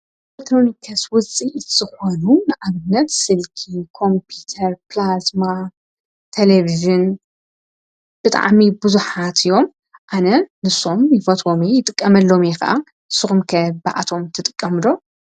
ኤለትሮኒከስ ውፂ ዝኾኑ ንኣግነት ስልኪ ቆምጵተር ጵላዝማ ተለብዝን ብጥዓሚ ብዙኃት እዮም ኣነ ንሶም ይፈቶሜ ይጥቀመሎም ኸዓ ስኹምከ ብኣቶም ትጥቀምዶ።